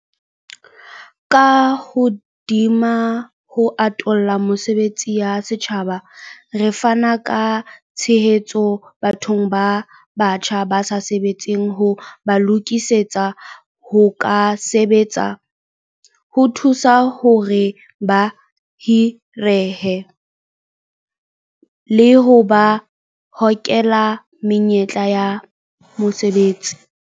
Ka hodima ho atolla mesebetsi ya setjhaba, re fana ka tshehetso bathong ba batjha ba sa sebetseng ho ba lokisetsa ho ka sebetsa, ho thusa hore ba hirehe, le ho ba hokela menyetleng ya mosebetsi.